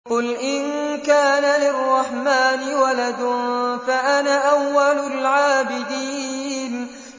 قُلْ إِن كَانَ لِلرَّحْمَٰنِ وَلَدٌ فَأَنَا أَوَّلُ الْعَابِدِينَ